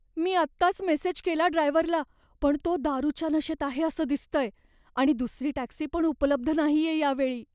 मी आत्ताच मेसेज केला ड्रायव्हरला पण तो दारूच्या नशेत आहे असं दिसतंय आणि दुसरी टॅक्सी पण उपलब्ध नाहीये या वेळी.